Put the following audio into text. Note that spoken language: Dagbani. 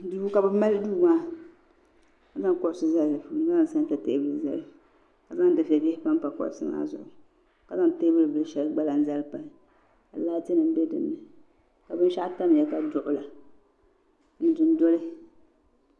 Duu kabɛ mali duumaa ka zaŋ kuɣisi ni zali dini ka zaŋ santa teebuli ka zaŋ difebihi npa npa kuɣisi maa zuɣu kazaŋ teebu bili shɛli gba n lana zali n pahi ka laati nim be dini ka bɛn shaɣu tam ya ka duɣula ni du n. doli